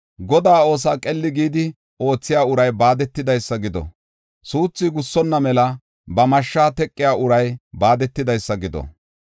Godaa oosuwa qeli gidi oothiya uray baadetidaysa gido. Suuthu gussonna mela ba mashsha teqiya uray baadetidaysa gido!